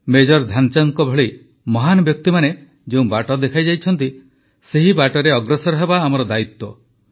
major ଧ୍ୟାନଚାନ୍ଦଙ୍କ ଭଳି ମହାନ ବ୍ୟକ୍ତିମାନେ ଯେଉଁ ବାଟ ଦେଖାଇଛନ୍ତି ସେହି ବାଟରେ ଅଗ୍ରସର ହେବା ଆମ ଦାୟିତ୍ୱ